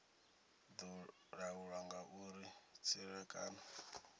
do laulwa nga uri tserekano